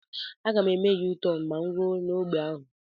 Aga m eme Yu-tọn ma mụ rue n'ogbe ahụ